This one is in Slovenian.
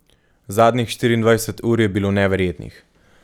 Zadnjih štiriindvajset ur je bilo neverjetnih.